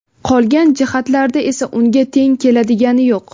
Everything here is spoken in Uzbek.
Qolgan jihatlarda esa unga teng keladigani yo‘q.